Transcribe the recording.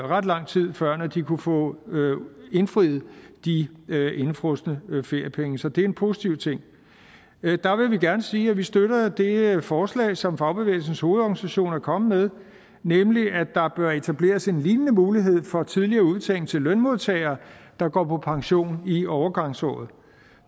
ret lang tid førend de kunne få indfriet de indefrosne feriepenge så det er en positiv ting der vil vi gerne sige at vi støtter det forslag som fagbevægelsens hovedorganisationer er kommet med nemlig at der bør etableres en lignende mulighed for tidligere udbetaling til lønmodtagere der går på pension i overgangsåret